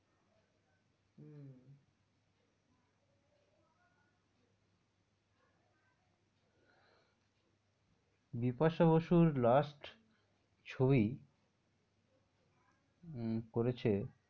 বিপাশা বসুর last ছবি উম করেছে,